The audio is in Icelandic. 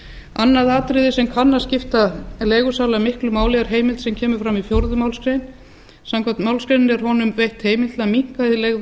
annað atriði sem kann að skipta leigusala miklu máli er heimild sem kemur fram í fjórðu málsgrein samkvæmt málsgreininni er honum veitt heimild til að minnka hið leigða